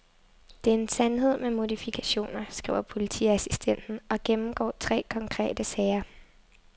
Det er en sandhed med modifikationer, skriver politiassistenten og gennemgår tre konkrete sager.